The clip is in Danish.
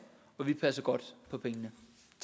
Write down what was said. og vi passer godt på pengene